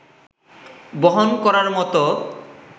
বহন করার মতো